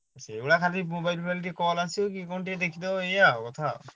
ସେଗୁଡ଼ାକ ଖାଲି mobile ଫୋବାଇଲ ଟିକେ call ଆସିବ କଣ ଟିକେ ଦେଖିଦେବ ଏଇଆ ଆଉ କଥା।